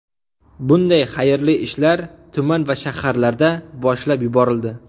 Bunday xayrli ishlar tuman va shaharlarda boshlab yuborildi.